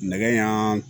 Nɛgɛ ɲan